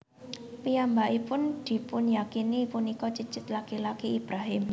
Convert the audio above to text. Piyambakipun dipunyakini punika cicit laki laki Ibrahim